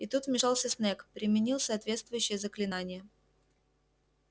и тут вмешался снегг применил соответствующее заклинание